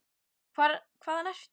Hvaðan ertu?